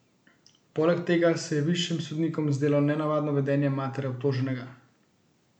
Poleg tega se je višjim sodnikom zdelo nenavadno vedenje matere obtoženega.